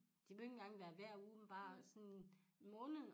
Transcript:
Det behøver ikke engang være hver uge men bare sådan måneden